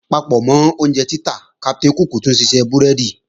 Papọ̀mọ́ iṣẹ́ oúnjẹ títà, Captain cook tún ṣiṣẹ́ búrẹ́dì